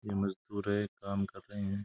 ये मजदूर हैं काम कर रहे हैं।